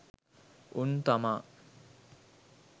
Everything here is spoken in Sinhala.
උන් තමා